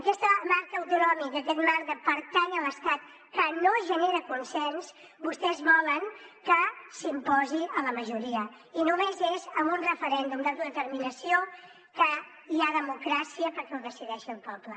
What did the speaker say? aquest marc autonòmic aquest marc de pertànyer a l’estat que no genera consens vostès volen que s’imposi a la majoria i només és amb un referèndum d’autodeterminació que hi ha democràcia perquè ho decideixi el poble